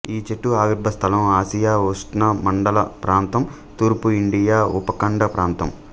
ఈ చెట్టు ఆవిర్భ స్థలం ఆసియా ఉష్ణమండల ప్రాంతం తూర్పు ఇండియా ఉపఖండ ప్రాంతం